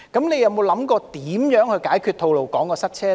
你有否想過如何解決吐露港的塞車問題？